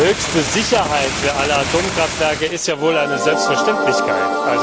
Höchste Sicherheit für alle Atomkraftwerke ist ja wohl eine Selbstverständlichkeit.